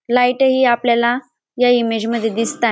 Light ही आपल्याला या इमेज मध्ये दिसताय.